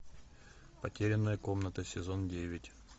потерянная комната сезон девять